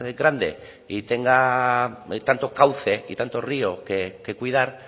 grande y tenga tanto cauce y tanto río que cuidar